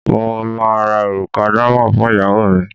mo ma ra òrùka díámóndi fún ìyàwó mi